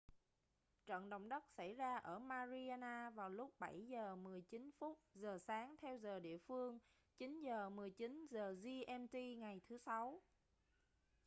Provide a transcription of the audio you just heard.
trận động đất xảy ra ở mariana vào lúc 07:19 giờ sáng theo giờ địa phương 09:19 giờ gmt ngày thứ sáu